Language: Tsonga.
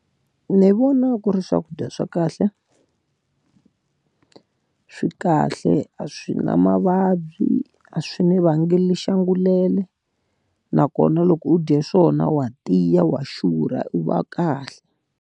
Ni vona ku ri swakudya swa kahle swi kahle a swi na mavabyi, a swi ni vangeli xiongolele. Nakona loko u dye swona wa tiya wa xurha u va kahle.